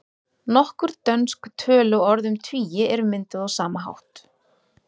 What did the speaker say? Nokkur dönsk töluorð um tugi eru mynduð á sama hátt.